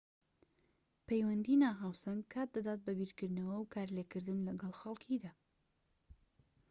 پەیوەندیی ناهاوسەنگ کات دەدات بە بیرکردنەوە و کارلێكکردن لەگەڵ خەڵكیدا